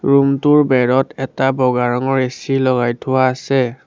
Room টোৰ বেৰত এটা বগা ৰঙৰ এচি লগাই থোৱা আছে।